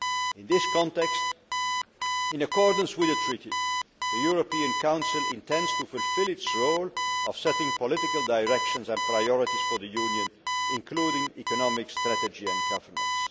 In this context, in accordance with the treaty, the European Council intends to fulfil its role of setting political directions and priorities for the Union, including economic strategy and governance.